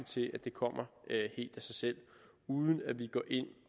til at det kommer helt af sig selv uden at vi går ind